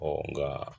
nka